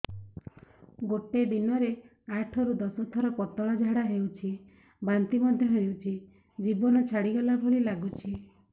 ଗୋଟେ ଦିନରେ ଆଠ ରୁ ଦଶ ଥର ପତଳା ଝାଡା ହେଉଛି ବାନ୍ତି ମଧ୍ୟ ହେଉଛି ଜୀବନ ଛାଡିଗଲା ଭଳି ଲଗୁଛି